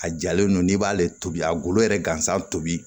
A jalen don n'i b'ale tobi a golo yɛrɛ gansan tobi